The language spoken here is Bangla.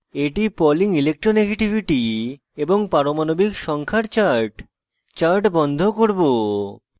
এটি pauling ইলেকট্রোনেগেটিভিটি এবং পারমাণবিক সংখ্যা z এর chart chart বন্ধ করব